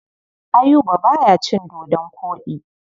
Ayuba ba ya cin dodon koɗi.